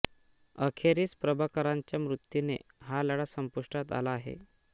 अखेरीस प्रभाकरनाच्या मृत्युने हा लढा संपुष्टात आला आहे